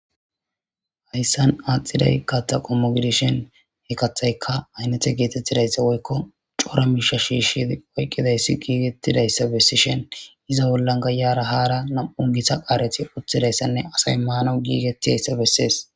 hayssan aaxiday kattaqommo gidishen hekathayka aynete geetettidayssa woykko cora miisha shiishidi oyqqidayssi giigettidayssa bessishen iza bollan gayara haara nam7u gita qaareti uththidayssanne asay maana giigettidayssa bessees